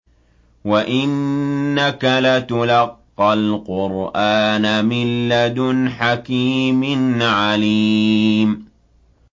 وَإِنَّكَ لَتُلَقَّى الْقُرْآنَ مِن لَّدُنْ حَكِيمٍ عَلِيمٍ